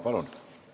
Palun!